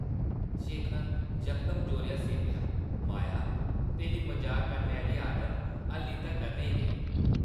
शेखर यकदम जोरें हस्सी पेआ, ‘‘माया, तेरी मजाक करने आह्ली आदत हाल्ली तक्कर नेईं गेई ।’’